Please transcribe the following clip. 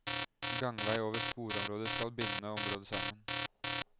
Gangvei over sporområdet skal binde området sammen.